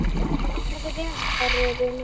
Farðu vel kæri vinur.